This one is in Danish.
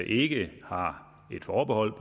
ikke har et forbehold